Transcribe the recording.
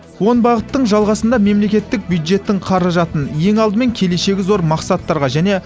он бағыттың жалғасында мемлекеттік бюджеттің қаражатын ең алдымен келешегі зор мақсаттарға және